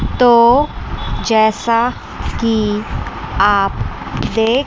तो जैसा कि आप दे--